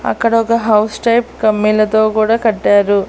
అక్కడొక house type కమ్మీలతో కూడా కట్టారు.